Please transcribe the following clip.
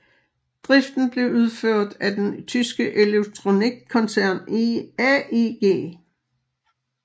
Driften blev udført af den tyske elektronikkoncern AEG